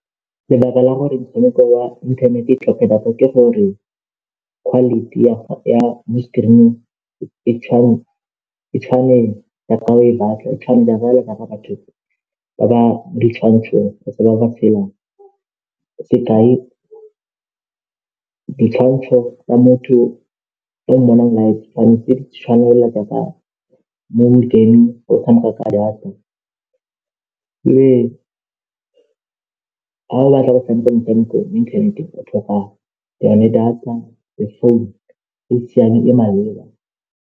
Jaaka re itse gore ke metshameko e e dirang gore re itumele, e re dirang gore ntshane bodutu ebile he re gaisana re nna le experience-e le matlhale gore go tshamekiwa yang gore re tle re fenye metshameko e meng.